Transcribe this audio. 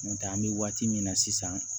N'o tɛ an bɛ waati min na sisan